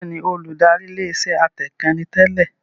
Bẹ́ẹ̀ni, Olùdarí ilé iṣẹ́ atẹǹkan ni tẹ́lẹ̀